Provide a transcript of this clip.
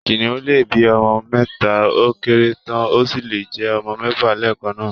Kìnnìún lè bí ọmọ mẹ́ta ó kéré tán, ó sì lè jẹ́ ọmọ mẹ́fà lẹ́ẹ̀kan náà